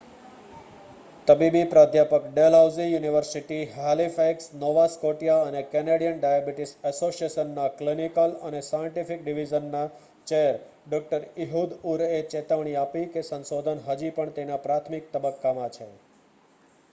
તબીબી પ્રાધ્યાપક Dalhousie university Halifax Nova Scotia અને કેનેડીયન ડાયાબિટીસ એસોસિએશન ના ક્લિનિકલ અને સાયન્ટિફિક ડિવિઝન ના ચેર ડો ઈહુદ ઉર એ ચેતવણી આપી કે સંશોધન હજી પણ તેના પ્રાથમિક તબક્કા માં છે